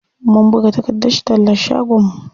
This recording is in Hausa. Mun buga takardar tallan shagon mu.